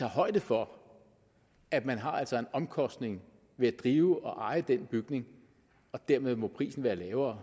højde for at man altså har en omkostning ved at drive og eje den bygning og dermed må prisen være lavere